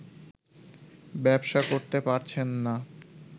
ব্যবসা করতে পারছেন না